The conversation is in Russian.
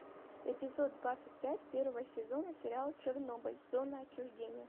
эпизод двадцать пять первого сезона сериал чернобыль зона отчуждения